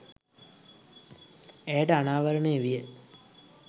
ඇයට අනාවරණය විය.